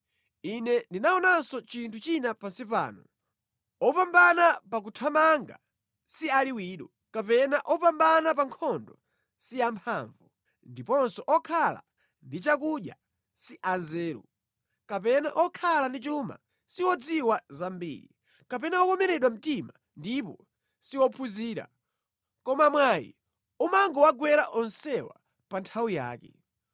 Ine ndinaonanso chinthu china pansi pano: opambana pa kuthamanga si aliwiro, kapena opambana pa nkhondo si amphamvu, ndiponso okhala ndi chakudya si anzeru, kapena okhala ndi chuma si odziwa zambiri, kapena okomeredwa mtima si ophunzira; koma mwayi umangowagwera onsewa pa nthawi yake.